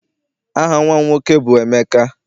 Aha nnwa m nwoke bụ Emeka.